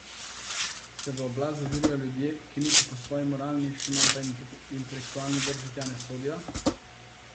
Se v oblast zažirajo ljudje, ki niti po svoji moralni še manj pa intelektualni drži tja ne sodijo?